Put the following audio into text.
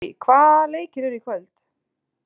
Harrý, hvaða leikir eru í kvöld?